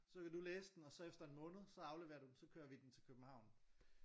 Så kan du læse den og så efter en måned så afleverer du den så kører vi den til København